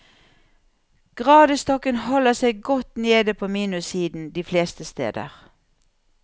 Gradestokken holder seg godt nede på minussiden de fleste steder.